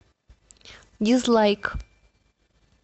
дизлайк